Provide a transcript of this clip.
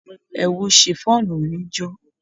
Ẹ̀wù shiffọnu mí jó.